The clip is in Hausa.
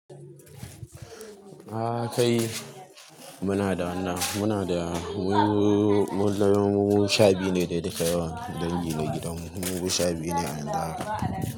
A kai muna da, muna da mu, lallai mun kai sha biyu ne dukan yawa dangi na gidanmu. Mu sha biyu ne a yanzu haka.